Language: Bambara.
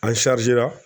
An